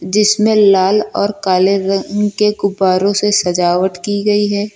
जिसमें लाल और काले रंग के गुब्बारों से सजावट की गई है।